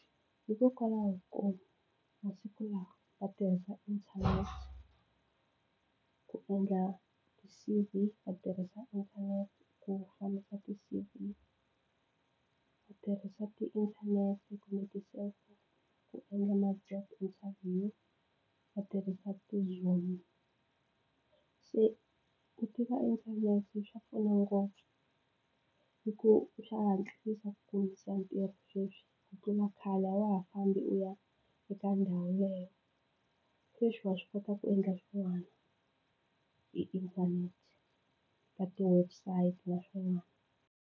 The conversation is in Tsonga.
Hikokwalaho ko masiku lawa va tirhisa internet ku endla ti-C_V va tirhisa internet ku fambisa ti-C_V ku tirhisa ti-internet kumbe ti-cellphone ku endla ma-job interview va tirhisa ti-zoom se ku tiva internet se swa pfuna ngopfu hi ku swa hatlisa ku kumisa ntirho sweswi ku tlula khale a wa ha fambi u ya eka ndhawu leyo sweswi wa swi kota ku endla swin'wani hi internet ka ti-website na swin'wana.